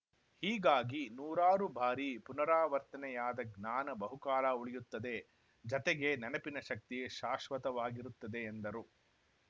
ಹೀಗಾಗಿ ನೂರಾರು ಬಾರಿ ಪುನಾರವರ್ತನೆಯಾದ ಜ್ಞಾನ ಬಹುಕಾಲ ಉಳಿಯುತ್ತದೆ ಜತೆಗೆ ನೆನಪಿನ ಶಕ್ತಿ ಶಾಶ್ವತವಾಗಿರುತ್ತದೆ ಎಂದರು